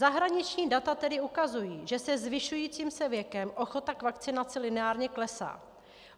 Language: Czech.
Zahraniční data tedy ukazují, že se zvyšujícím se věkem ochota k vakcinaci lineárně klesá.